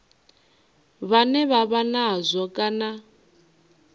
vhane vha vha nazwo kana